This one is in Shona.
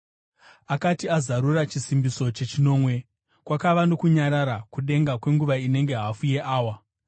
Akati azarura chisimbiso chechinomwe, kwakava nokunyarara kudenga kwenguva inenge hafu yeawa.